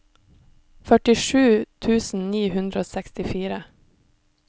førtisju tusen ni hundre og sekstifire